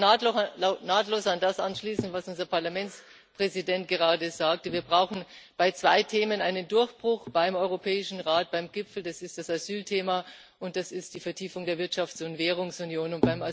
Ich kann nahtlos an das anschließen, was unser Parlamentspräsident gerade sagte Wir brauchen bei zwei Themen einen Durchbruch beim Europäischen Rat, beim Gipfel Das ist das Asylthema, und das ist die Vertiefung der Wirtschafts und Währungsunion.